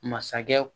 Masakɛ